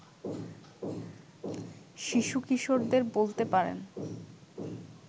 শিশু-কিশোরদের বলতে পারেন